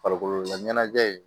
Farikolo laɲɛnajɛ